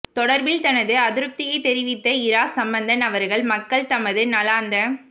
தொடர்பில் தனது அதிருப்தியை தெரிவித்த இரா சம்பந்தன் அவர்கள் மக்கள் தமது நாளாந்த